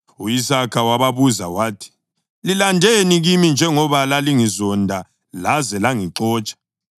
U-Isaka wababuza wathi, “Lilandeni kimi, njengoba lalingizonda laze langixotsha?”